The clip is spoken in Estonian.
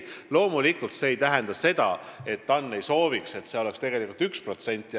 Loomulikult see ei tähenda seda, et TAN ei sooviks, et see oleks 1%.